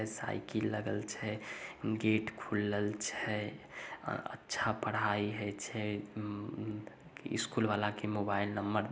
ए cycle लगल छै gate खुलल छय अ अच्छा पढ़ाई है छै उ उम स्कूल वाला के मोबाइल नम्मर --